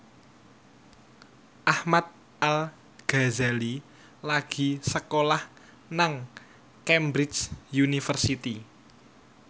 Ahmad Al Ghazali lagi sekolah nang Cambridge University